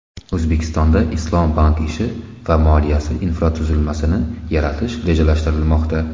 O‘zbekistonda islom bank ishi va moliyasi infratuzilmasini yaratish rejalashtirilmoqda.